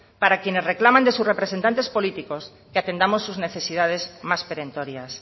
para quienes reclaman de sus representantes políticos que atendamos sus necesidades más perentorias